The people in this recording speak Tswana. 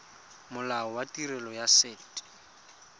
molao wa tirelo ya set